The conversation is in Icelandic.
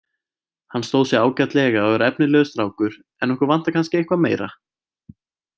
Hann stóð sig ágætlega og er efnilegur strákur en okkur vantar kannski eitthvað meira.